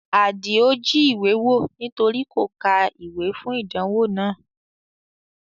Adio jí ìwé wò nítorí kò ka ìwé fún ìdánwò náà